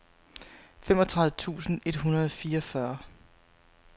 femogtredive tusind et hundrede og fireogfyrre